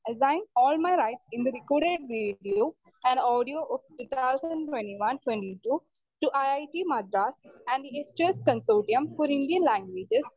Speaker 2 assign all my rights in the recorded video and audio of two thousand twenty one twenty two to I I T Madras and estus consortium for Indian languages.